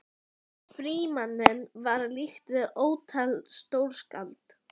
Frímanni var líkt við ótal stórskáld.